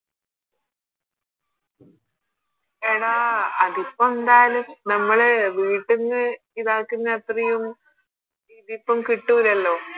എടാ അതിപ്പോ എന്തായാലും നമ്മള് വീട്ടീന്ന് ഇതാക്കുന്ന അത്രയും ഇതിപ്പോ കിട്ടൂലല്ലോ